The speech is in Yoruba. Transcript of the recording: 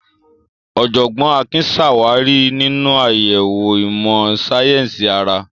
Ọ̀jọ̀gbọ́n Akin ṣàwárí nínú àyẹ̀wò ìmọ̀ sáyẹ́sì ara.